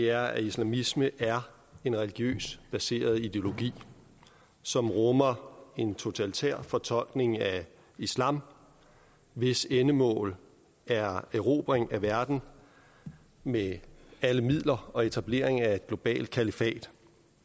er at islamisme er en religiøst baseret ideologi som rummer en totalitær fortolkning af islam og hvis endemål er erobring af verden med alle midler og etablering af et globalt kalifat